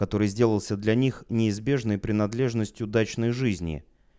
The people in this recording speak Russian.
который сделался для них неизбежной принадлежностью дачной жизни